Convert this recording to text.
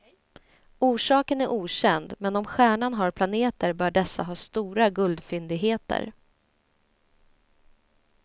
Orsaken är okänd, men om stjärnan har planeter bör dessa ha stora guldfyndigheter.